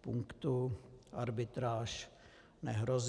punktu arbitráž nehrozí.